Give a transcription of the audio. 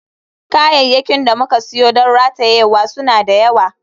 Kayayyakin da muka siyo don ratayewa suna da yawa.